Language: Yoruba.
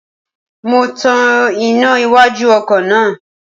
Mo tan iná iwájú ọkọ̀ náà